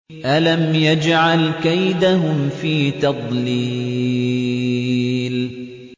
أَلَمْ يَجْعَلْ كَيْدَهُمْ فِي تَضْلِيلٍ